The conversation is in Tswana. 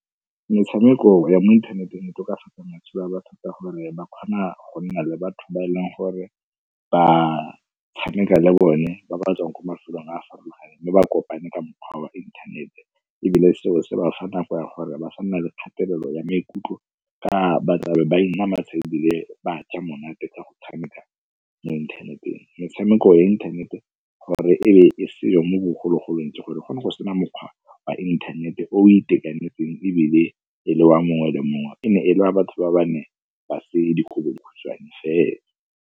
Metshameko ya mo inthaneteng e tokafatsa matshelo a batho ka gore ba kgona go nna le batho ba e leng gore ba tshameka le bone, ba ba tswang kwa mafelong a farologaneng mme ba kopane ka mokgwa wa inthanete. Ebile seo se bafa nako ya gore ba ga nna le kgatelelo ya maikutlo ka ba tlabe ba ebile ba ja monate ka go tshameka mo inthaneteng. Metshameko ya inthanete gore e be e seyo mo bogologolong ke gore go ne go sena mokgwa wa inthanete o itekanetseng ebile e le wa mongwe le mongwe, e ne e le wa batho ba ba ne ba se dikobodikhutshwane fela.